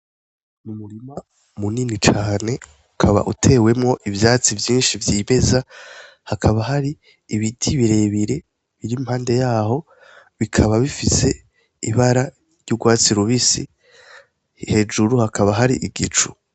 Umurima munini cane. Ukaba utewemwo ivyatsi vyinshi vyimeza. Hakaba hari ibiti birebire biri impande yaho. Bikaba bifise ibara ry'urwatsi rubisi. Hejuru hakaba hari igicu.